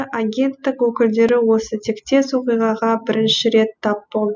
агенттік өкілдері осы тектес оқиғаға бірінші рет тап болды